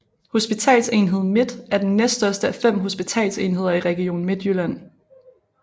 Hospitalsenhed Midt er den næststørste af fem hospitalsenheder i Region Midtjylland